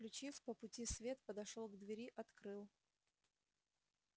включив по пути свет подошёл к двери открыл